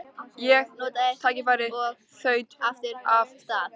Ég notaði tækifærið og þaut aftur af stað.